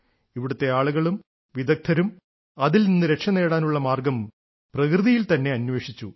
ഇവിടത്തെ ആളുകളും വിദഗ്ദ്ധരും അതിൽ നിന്ന് രക്ഷനേടാനുള്ള മാർഗ്ഗം പ്രകൃതിയിൽ തന്നെ അന്വേഷിച്ചു